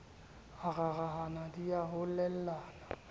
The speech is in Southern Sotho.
a rarahana di a lohellana